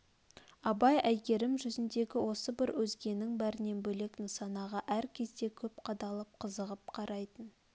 абай әйгерім жүзндегі осы бір өзгенің бәрінен бөлек нысанаға әр кезде көп қадалып қызығып қарайтын